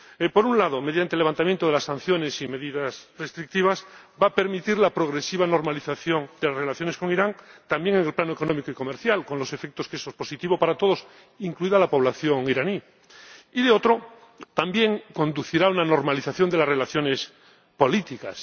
Por un lado, mediante el levantamiento de las sanciones y medidas restrictivas, va a permitir la progresiva normalización de relaciones con Irán ―también en el plano económico y comercial, con el efecto de que eso es positivo para todos, incluida la población iraní― y, de otro, también conducirá a una normalización de las relaciones políticas.